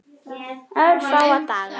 Örfáa daga.